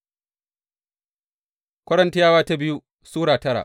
biyu Korintiyawa Sura tara